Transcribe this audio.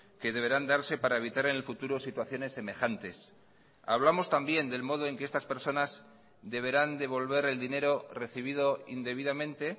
que deberán darse para evitar en el futuro situaciones semejantes hablamos también del modo en que estas personas deberán devolver el dinero recibido indebidamente